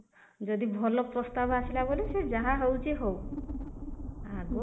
ଯଦି ଭଲ ପ୍ରସ୍ତାବ ଆସିଲା ବୋଲେ ସେ ଯାହା ହଉଛି ହଉ ଆଗ